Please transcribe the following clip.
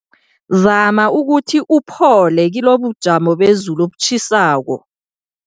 Zama ukuthi uphole kilobujamo bezulu obutjhisako.